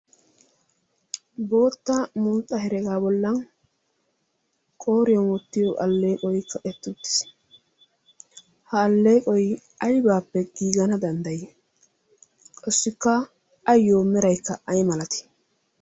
bootta mulxxa heregaa bollan qooriyon ottiyo alleeqoikka ettuuttiis. ha alleeqoi aibaappe giigana danddayii qossikka ayyo meraikka ai malati?